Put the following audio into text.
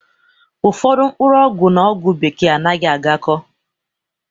Ụfọdụ mkpọrọgwụ n'ogwu bekee anaghị agako